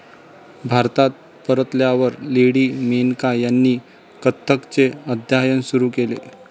भारतात परतल्यावर लेडी मेनका ह्यांनी कथ्थकचे अध्ययन सुरु केले.